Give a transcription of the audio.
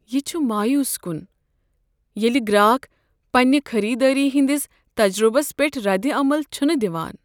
یہ چھ مایوس کن ییٚلہ گراک پنٛنہِ خریدٲری ہنٛدس تجربس پیٹھ ردعمل چھنہٕ دوان۔